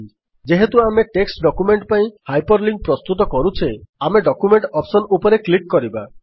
ଯେହେତୁ ଆମେ text document ପାଇଁ ହାଇପର୍ ଲିଙ୍କ୍ ପ୍ରସ୍ତୁତ କରୁଛେ ଆମେ ଡକ୍ୟୁମେଣ୍ଟ ଅପ୍ସନ୍ ଉପରେ କ୍ଲିକ୍ କରିବା